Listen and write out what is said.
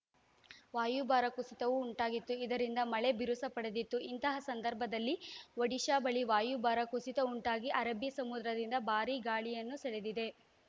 ವಾಯುಭಾರ ಕುಸಿತವೂ ಉಂಟಾಗಿತ್ತು ಇದರಿಂದ ಮಳೆ ಬಿರುಸುಪಡೆದಿತ್ತು ಇಂತಹ ಸಂದರ್ಭದಲ್ಲಿ ಒಡಿಶಾ ಬಳಿ ವಾಯುಭಾರ ಕುಸಿತ ಉಂಟಾಗಿ ಅರಬ್ಬೀ ಸಮುದ್ರದಿಂದ ಭಾರಿ ಗಾಳಿಯನ್ನು ಸೆಳೆದಿದೆ